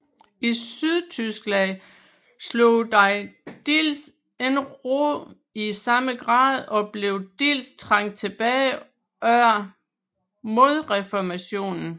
I Sydtyskland slog den dels ikke rod i samme grad og blev dels trængt tilbage under modreformationen